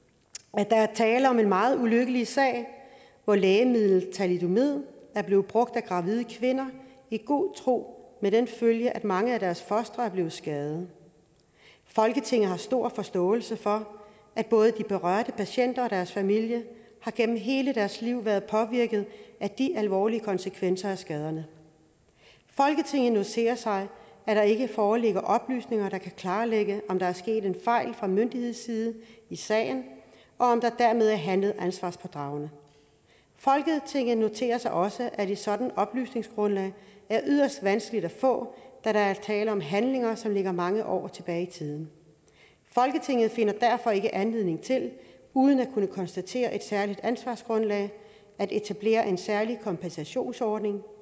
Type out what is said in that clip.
at der er tale om en meget ulykkelig sag hvor lægemidlet thalidomid er blevet brugt af gravide kvinder i god tro med den følge at mange af deres fostre er blevet skadede folketinget har stor forståelse for at både de berørte patienter og deres familie gennem hele deres liv har været påvirket af de alvorlige konsekvenser af skaderne folketinget noterer sig at der ikke foreligger oplysninger der kan klarlægge om der er sket en fejl fra myndighedsside i sagen og om der dermed er handlet ansvarspådragende folketinget noterer sig også at et sådant oplysningsgrundlag er yderst vanskeligt at få da der er tale om handlinger som ligger mange år tilbage i tiden folketinget finder derfor ikke anledning til uden at kunne konstatere et særligt ansvarsgrundlag at etablere en særlig kompensationsordning